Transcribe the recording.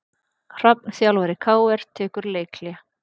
Hrafn þjálfari KR tekur leikhlé